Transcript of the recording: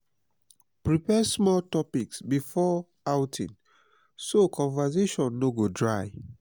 prepare small topics before outing so conversation no go dry.